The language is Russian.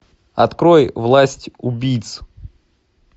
открой власть убийц